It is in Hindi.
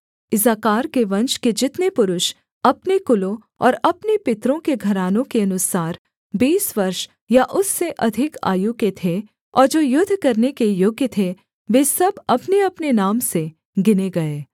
इस्साकार के वंश के जितने पुरुष अपने कुलों और अपने पितरों के घरानों के अनुसार बीस वर्ष या उससे अधिक आयु के थे और जो युद्ध करने के योग्य थे वे सब अपनेअपने नाम से गिने गए